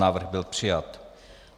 Návrh byl přijat.